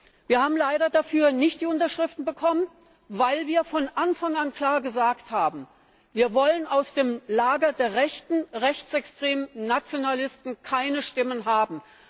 Leider haben wir dafür nicht die Unterschriften bekommen, weil wir von Anfang an klar gesagt haben Wir wollen aus dem Lager der Rechten, der rechtsextremen Nationalisten keine Stimmen haben.